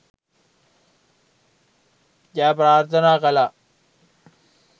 ජය ප්‍රාර්ථනා කළා!.